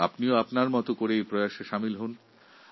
আপনিও আপনার মত করে এই প্রচেষ্টায় সামিল হোন